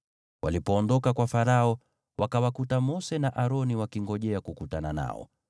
Walipoondoka kwa Farao, wakawakuta Mose na Aroni wakingojea kukutana nao,